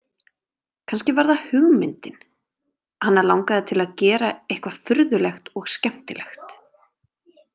Kannski var það hugmyndin: hana langaði til að gera eitthvað furðulegt og skemmtilegt.